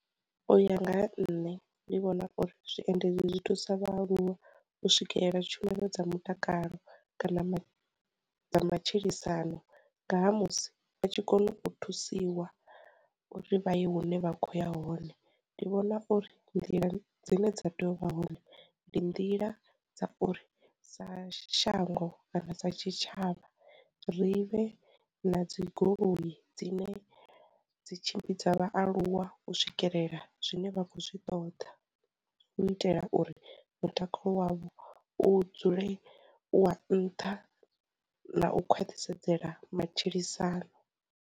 U ya nga ha nṋe ndi vhona uri zwiendedzi zwi thusa vha aluwa u swikelela tshumelo dza mutakalo kana dza matshilisano ngaha musi vha tshi kone u thusiwa uri vha ye hune vha khoya hone, ndi vhona uri nḓila dzine dza tea u vha hone ndi nḓila dza uri sa shango kana sa tshitshavha, ri vhe na dzi goloi dzine dzi tshimbidza vhaaluwa u swikelela zwine vha khou zwi ṱoḓa u itela uri mutakalo wavho u dzule u wa nnṱha na u khwaṱhisedzela matshilisano.